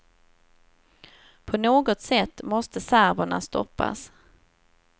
På något sätt måste serberna stoppas.